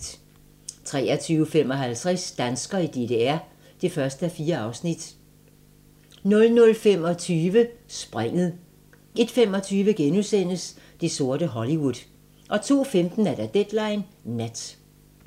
23:55: Danskere i DDR (1:4) 00:25: Springet 01:25: Det sorte Hollywood * 02:15: Deadline Nat